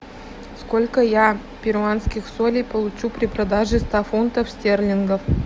сколько я перуанских солей получу при продаже ста фунтов стерлингов